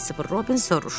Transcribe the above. Christopher Robin soruşdu.